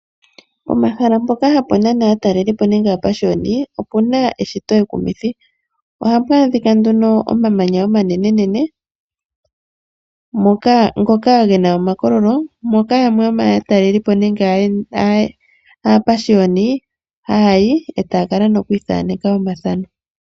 Pomahala mpoka hapu nana aatalelipo nenge aapashiyoni opu na eshito ekumithi. Ohapu adhika nduno omamanya omanenenene ngoka ge na omakololo moka yamwe yomaatalelipo nenge aapashiyoni haya yi e taya kala nokuithaneka omathano.